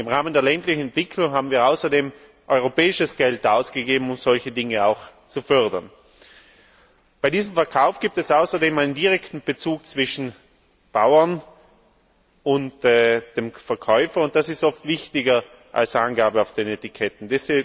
Im Rahmen der ländlichen Entwicklung haben wir außerdem europäisches Geld ausgegeben, um solche Dinge auch zu fördern. Bei diesem Verkauf gibt es außerdem einen direkten Bezug zwischen Bauern und dem Käufer, und das ist oft wichtiger als Angaben auf den Etiketten.